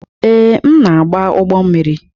Ee, m na-agba ụgbọ mmiri.